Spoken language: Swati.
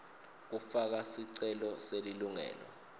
kufaka sicelo selilungelo